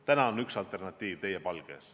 Täna on üks alternatiiv teie palge ees.